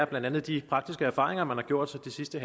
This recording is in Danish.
blandt andet de faktiske erfaringer man har gjort sig det sidste